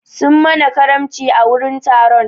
Sun mana karamci a wurin taron.